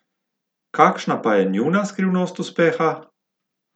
Kakšna pa je njuna skrivnost uspeha?